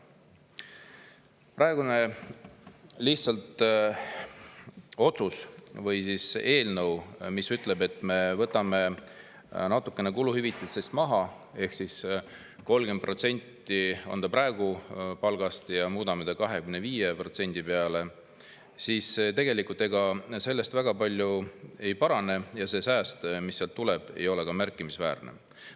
Praegune eelnõu ütleb, et me võtame natukene kuluhüvitistest lihtsalt maha – 30% palgast on see praegu, muudame selle 25% peale –, aga tänu sellele tegelikult väga palju ei parane ja sääst, mis sealt tuleb, ei ole ka märkimisväärne.